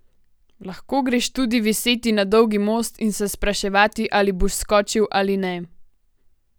Lahko greš tudi viseti na Dolgi most in se spraševati, ali boš skočil ali ne.